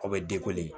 Aw bɛ